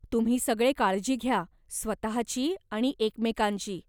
तुम्ही सगळे काळजी घ्या, स्वतःची आणि एकमेकांची.